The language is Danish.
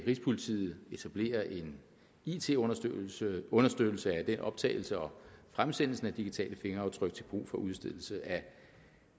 rigspolitiet vil etablere en it understøttelse understøttelse af den optagelse og fremsendelse af digitale fingeraftryk til brug for udstedelse af